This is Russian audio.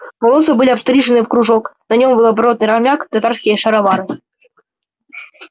волосы были обстрижены в кружок на нем был оборванный армяк и татарские шаровары